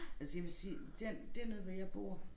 Altså jeg vil sige den dernede hvor jeg bor